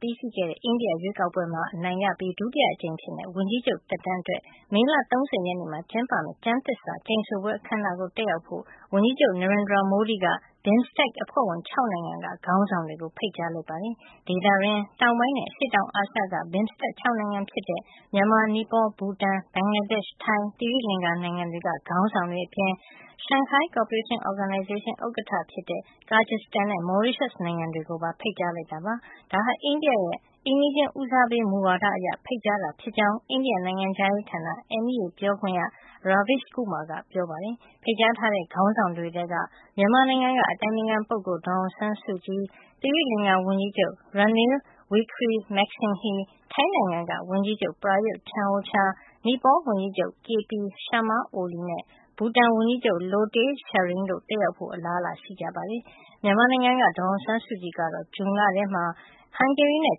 ပြီးစီးတဲ့ အိန္ဒိယရွေးကောက်ပွဲမှာ အနိုင်ရပြီး ဒုတိယအကြိမ် ဝန်ကြီးချုပ်သက်တမ်းအတွက် မေလ ၃၀ မှာ ကျင်းပမယ့် ကျန်းသစ္စာကျိန်ဆိုပွဲ အခန်းအနားကို တက်ရောက်ဖို့ ဝန်ကြီးချုပ် Narendra Modi က BIMSTEC အဖွဲ့ဝင် ၆ နိုင်ငံက ခေါင်းဆောင်တွေကို ဖိတ်ကြားလိုက်ပါတယ်။ ဒေသတွင်း တောင်ပိုင်းနဲ့ အရှေ့တောင်အာရှက BIMSTEC ၆ နိုင်ငံ ဖြစ်တဲ့ မြန်မာ၊ နိပေါ၊ ဘူတန်၊ ဘင်္ဂလားဒေ့ရှ်၊ ထိုင်း၊ သီရိလင်္ကာ နိုင်ငံတွေက ခေါင်းဆောင်တွေ အပြင် Shanghai Cooperation Organisation ဥက္ကဌ ဖြစ်တဲ့ Kyrgyzstan နဲ့ Mauritius နိုင်ငံတွေကိုပါ ဖိတ်ကြား လိုက်တာ ဖြစ်ပါတယ်။ ဒါဟာ အိန္ဒိယရဲ့ အိမ်နီးချင်းပထမဦးစားပေး မူဝါဒ အရ ဖိတ်ကြားတာ ဖြစ်ကြောင်း အိန္ဒိယ နိုင်ငံခြားရေးဌာန MEA ပြောခွင့်ရ Raveesh Kumar ကပြောပါတယ်။ ဖိတ်ကြားထားတဲ့ ခေါင်းဆောင်တွေထဲက မြန်မာနိုင်ငံက အတိုင်ပင်ခံပုဂ္ဂိုလ် ဒေါ်အောင်ဆန်းစုကြည်၊ သီရိလင်္ကာ ဝန်ကြီးချုပ် Ranil Wichremesinghe ၊ ထိုင်းနိုင်ငံက ဝန်ကြီးချုပ် Prayut Chanocha ၊နိပေါဝန်ကြီးချုပ် K P Sharma Oli နဲ့ ဘူတန် ဝန်ကြီးချုပ် Lotay Tshering တို့က တက်ရောက်ဖို့ အလားအလာ ရှိကြပါတယ်။ မြန်မာနိုင်ငံက ဒေါ်အောင်ဆန်းစုကြည် ကတော့ ဇွန်လမှာ ဟန်ဂေရီနဲ့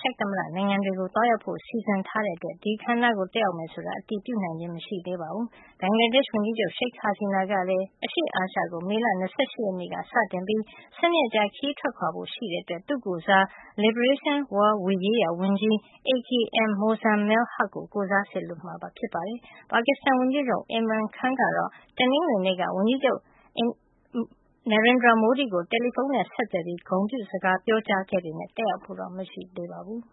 ချက် သမ္မတ နိုင်ငံတွေကို သွားရောက်ဖို့ စီစဉ်ထားတဲ့အတွက် ဒီအခန်း အနားကို တက်ရောက်မယ် ဆိုတာကို အတည်ပြုနိုင်ခြင်း မရှိသေးပါဘူး။ ဘင်္ဂလားဒေ့ရှ် ဝန်ကြီးချုပ ်Sheik Hasina ကလည်း အရှေ့အာရှကို မေလ ၂၈ ရက်နေ့ ကစတင်ပြီး ၁၂ ရက်ကြာ ခရီးထွက်ခွါဖို့ ရှိတဲ့အတွက် သူ့ကိုယ်စား Liberation War ရေးရာ ဝန်ကြီး A K M Mozammel Huq ကို ကိုယ်စား စေလွှတ်ဖို့ ရှိပါတယ်။ ပါကစ္စတန် ဝန်ကြီးချုပ် Imran Khan ကတော့ တနင်္ဂနွေနေ့က အိန္ဒိယ ဝန်ကြီးချုပ် Modi ကို တယ်လီဖုန်း ဆက်သွယ်ပြီး ဂုဏ်ပြုစကား ပြောကြားခဲ့ပေမယ့် တက်ရောက်ဖို့ မရှိပါဘူး။